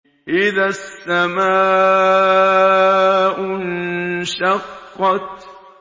إِذَا السَّمَاءُ انشَقَّتْ